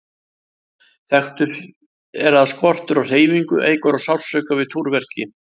Þekkt er að skortur á hreyfingu eykur sársauka við túrverki.